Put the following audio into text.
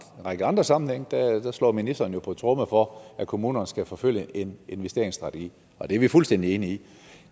række andre sammenhænge slår ministeren jo på tromme for at kommunerne skal forfølge en investeringsstrategi og det er vi fuldstændig enige i